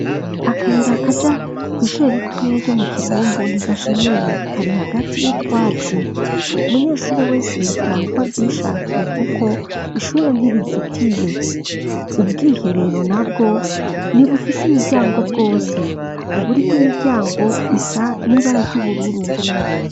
Akayira kaja kwishure ritoya ryo mu Kibumbu ntigashemeye. Kari hagati yo twatsi umunyeshuri wese yotaha uko avyishakiye kuko ishuri ntirizitiye. Ubwiherero nabwo ni bufise imiryango bwose uburi kw'imiryango isa n'ibara ry'ubururu.